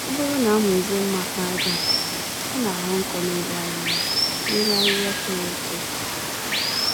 Ọbụrụ na amụzie mma àkpàràjà nke ọma, ọ naghọ nkọ n'elu ahịhịa n'elu ahịhịa toro-eto